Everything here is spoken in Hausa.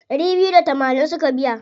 Ɗari biyu da tamanin suka biya.